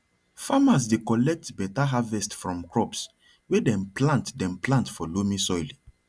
farmers dey collect better harvest from crops wey dem plant dem plant for loamy soil